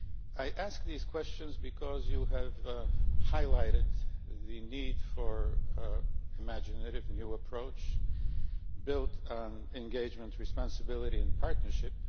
I ask these questions because you have highlighted the need for an imaginative new approach built on engagement, responsibility and partnership.